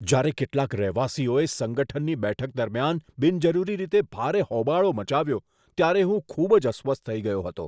જ્યારે કેટલાક રહેવાસીઓએ સંગઠનની બેઠક દરમિયાન બિનજરૂરી રીતે ભારે હોબાળો મચાવ્યો ત્યારે હું ખૂબ જ અસ્વસ્થ થઈ ગયો હતો.